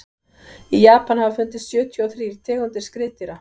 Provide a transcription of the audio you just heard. í japan hafa fundist sjötíu og þrír tegundir skriðdýra